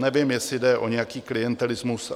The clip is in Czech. Nevím, jestli jde o nějaký klientelismus.